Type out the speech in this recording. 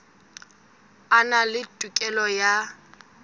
a na le tokelo ya